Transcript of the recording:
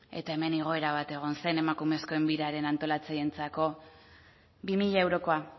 eta hemen igoera bat egon zen emakumeen biraren antolatzaileentzako bi mila eurokoa